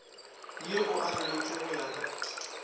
ye o aroletšwe go ya